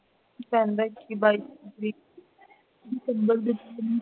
ਪੈਂਦਾ ਹੈ ਕਿ december ਦੇ ਮਹੀਨੇ ਚ